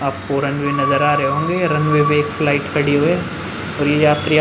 आपको रनवे नजर आ रहे होंगे। रनवे पे एक फ्लाइट खड़ी हुई है और ये यात्री य --